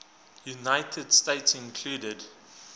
united states include